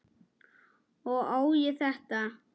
Og á ég þetta?